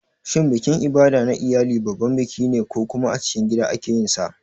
Shin bikin Ibada na iyali babban biki ne ko kuma a cikin gida ake yin sa?